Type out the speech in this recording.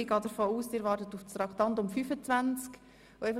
Ich gehe davon aus, dass Sie auf die Behandlung von Traktandum 25 warten.